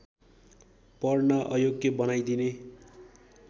पढ्न अयोग्य बनाइदिने